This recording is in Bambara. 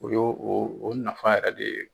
O yo o nafa yɛrɛ de ye.